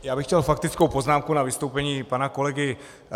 Já bych měl faktickou poznámku k vystoupení pana kolegy.